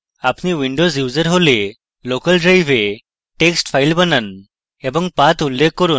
আপনি windows user হলে local drive text file বানান এবং path উল্লেখ করুন